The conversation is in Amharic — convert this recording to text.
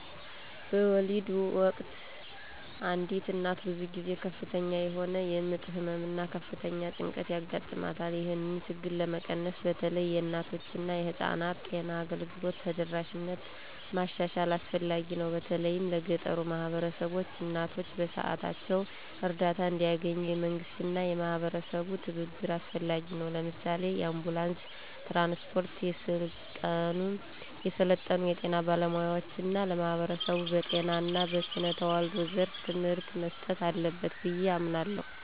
በወሊድ ወቅት አንዲት እናት ብዙ ጊዜ ከፍተኛ የሆነ የምጥ ህመም እና ከፍተኛ ጭንቀት ያጋጥማታል። ይህንን ችግር ለመቀነስ በተለይ የእናቶችና የህፃናት ጤና አገልግሎት ተደራሽነትን ማሻሻል አስፈላጊ ነው፤ በተለይም ለገጠሩ ማህበረሰቦች። እናቶች በሰዓታቸው እርዳታ እንዲያገኙ፣ የመንግስትና የማህበረሰብ ትብብር አስፈላጊ ነው። ለምሳሌ፣ የአንቡላንስ ትራንስፖርት፣ የሰለጠኑ የጤና ባለሙያዎች እና ለማህበረሰቡ በጤና እና በስነ ተዋልዶ ዘርፍ ትምህርት መስጠት አለበት ብዬ አምናለሁ።